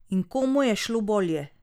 In komu je šlo bolje?